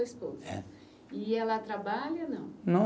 Esposa. É. E ela trabalha, não? Não